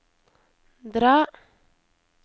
dra